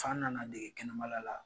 F'an nana dege kɛnɛmala la